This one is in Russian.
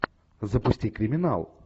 запусти криминал